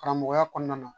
Karamɔgɔya kɔnɔna na